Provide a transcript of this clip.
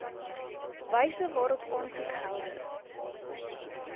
wyse waarop aansoekgelde